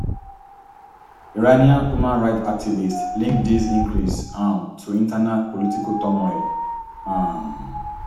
iranian human rights activists link dis increase um to internal political turmoil um